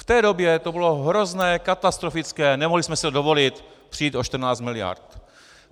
V té době to bylo hrozné, katastrofické, nemohli jsme si dovolit přijít o 14 miliard.